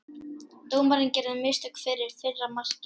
Dómarinn gerði mistök fyrir fyrra markið.